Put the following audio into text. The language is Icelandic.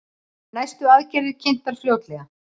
Næstu aðgerðir kynntar fljótlega